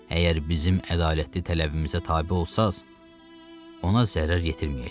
Əgər bizim ədalətli tələbimizə tabe olsanız, ona zərər yetirməyəcəyik.